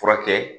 Furakɛ